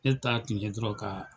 Ne ta tiun ye dɔrɔn ka